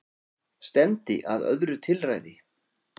Stefndi að öðru tilræði